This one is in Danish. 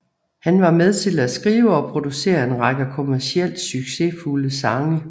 Han var med til at skrive og producere en række kommercielt succesfulde sange